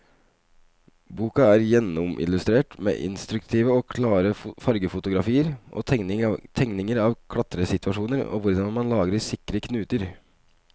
Boken er gjennomillustrert med instruktive og klare fargefotografier og tegninger av klatresituasjoner og hvordan man lager sikre knuter.